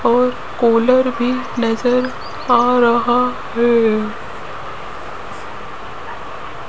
और कोलर भी नजर आ रहा है।